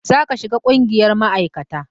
Za ka shiga ƙungiyar ma'aikata!